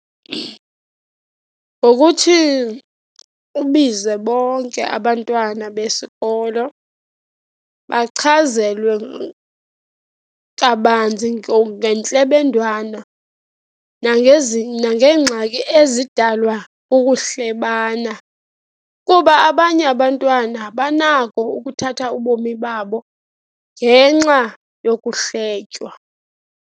Ngokuthi ubize bonke abantwana besikolo, bachazelwe kabanzi ngentlebendwane nangeengxaki ezidalwa kukuhlebana, kuba abanye abantwana banako ukuthatha ubomi babo ngenxa yokuhletywa.